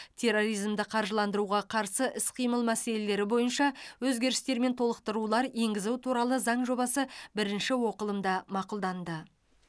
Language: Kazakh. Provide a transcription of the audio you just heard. терроризмді қаржыландыруға қарсы іс қимыл мәселелері бойынша өзгерістер мен толықтырулар енгізу туралы заң жобасы бірінші оқылымда мақұлданды